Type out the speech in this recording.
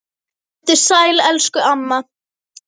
Vertu sæl elsku amma.